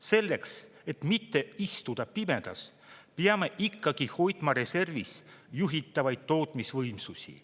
Selleks, et mitte istuda pimedas, peame ikkagi hoidma reservis juhitavaid tootmisvõimsusi.